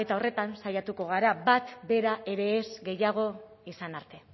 horretan saiatuko gara bat bera ere ez gehiago izan arte